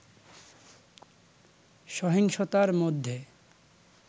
সহিংসতার মধ্যে